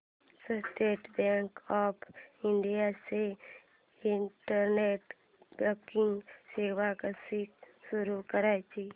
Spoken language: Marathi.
स्टेट बँक ऑफ इंडिया ची इंटरनेट बँकिंग सेवा कशी सुरू करायची